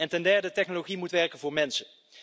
Ten derde technologie moet werken voor mensen.